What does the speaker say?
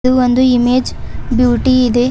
ಇದು ಒಂದು image beauty ಇದೆ.